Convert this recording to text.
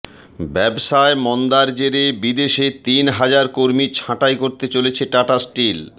ব্যবসায় মন্দার জেরে বিদেশে তিন হাজার কর্মী ছাঁটাই করতে চলেছে টাটা স্টিল